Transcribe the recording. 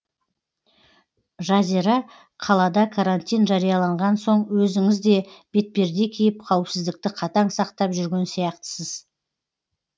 жазира қалада карантин жарияланған соң өзіңіз де бетперде киіп қауіпсіздікті қатаң сақтап жүрген сияқтысыз